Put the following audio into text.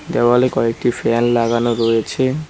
দেওয়ালে কয়েকটি ফ্যান লাগানো রয়েছে।